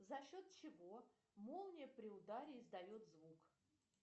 за счет чего молния при ударе издает звук